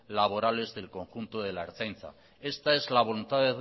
laborales del conjunto de la ertzaintza esta es la voluntad de